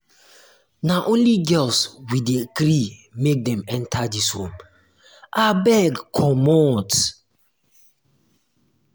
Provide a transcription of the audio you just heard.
na only girls um we dey gree make dem enta um dis room um abeg comot.